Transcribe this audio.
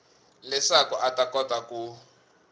leswaku a ta kota ku